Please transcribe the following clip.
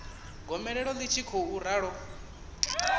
gomelelo ḽi tshi khou ralo